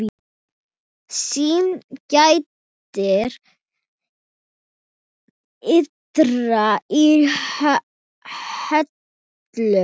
Syn gætir dyra í höllum